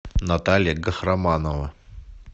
наталья гахраманова